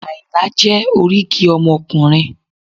Àyìnlá jẹ́ oríkì ọmọkùnrin